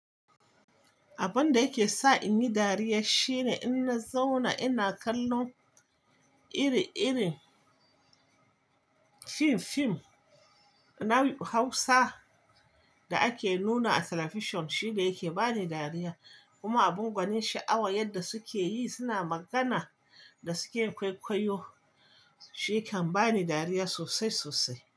Abun da yake sa in yi dariya shine in na zauna ina kallon iri-irin fim-fim na Hausa da ake nuna a talabishin, shi da yake ba ni dariya. Kuma abin gwanin sha'awa yadda suke yi suna magana da suke kwaikwayo, shi kan bani dariya sosai sosai.